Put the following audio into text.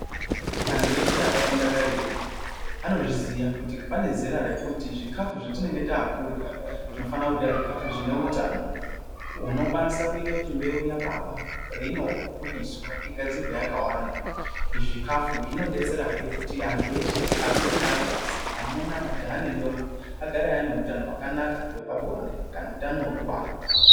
Antu eshe akafunda karetu anozviziya kuti pane zera rekuti zvikafu zvetinenge takurya, tinofanira kurya zvikafu zvine utano unokwanisa kuita kuti mbeu yababa peinobudiswa igadzirwe yakawanda. Zvikafu zvinodetserahe kuti antu eshe arume neakadzi, amuna, majaha nendombi agare aine hutano hwakanaka hwepabonde kana hutano hwekubara.